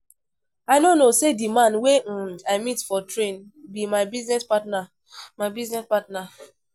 I no know say the man wey um I meet for train be my business partner my business partner